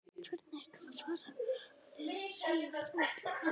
Hvernig ætlarðu að fara að því að segja frá öllu?